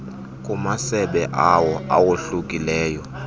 kumasebe awo awohlukileyo